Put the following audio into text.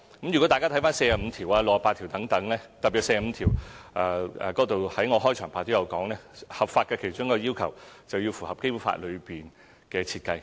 如果大家參閱第四十五條和第六十八條等，特別是第四十五條，我在開場發言亦提到，合法的其中一個要求是要符合《基本法》內的設計。